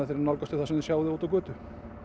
nálgast þau þar sem þeir sjá þau úti á götu